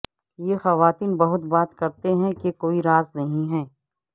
یہ خواتین بہت بات کرتے ہیں کہ کوئی راز نہیں ہے